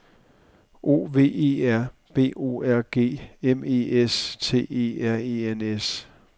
O V E R B O R G M E S T E R E N S